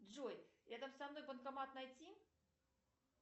джой рядом со мной банкомат найти